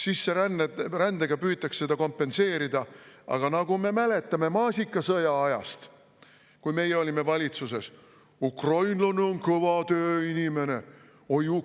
Sisserändega püütakse seda kompenseerida, aga nagu me mäletame maasikasõja ajast, kui meie olime valitsuses: "Ukrainlane on kõva tööinimene!